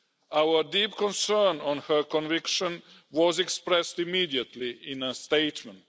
Our deep concern at her conviction was expressed immediately in a statement.